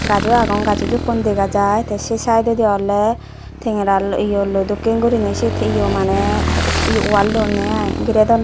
gaj ow agon gajo juppon dega jai tee say sidedi ole tengera loi eyoloi dokkin gorinay set eyo mane wall dunne ai girey duon.